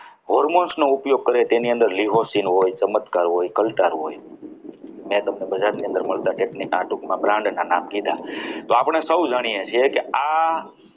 most નો ઉપયોગ કરે તેની અંદર Leoscene હોય ચમત્કાર હોય કંટાળ હોય મેં તમે બધાની અંદર મળતા bacteria brand ના નામ કીધા તો આપણે સૌ જાણીએ છીએ કે આ